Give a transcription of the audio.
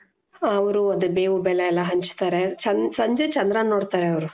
ಅವ್ರು ಅದೇ ಬೇವು ಬೆಲ್ಲ ಎಲ್ಲಾ ಹಂಚ್ತಾರೆ ಸಂಜೆ ಚಂದ್ರಾನ ನೋಡ್ತಾರೆ ಅವರು .